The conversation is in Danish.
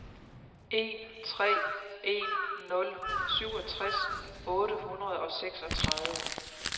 en tre en nul syvogtres otte hundrede og seksogtredive